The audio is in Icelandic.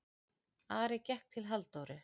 Ari gekk til Halldóru.